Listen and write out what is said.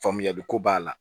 Faamuyali ko b'a la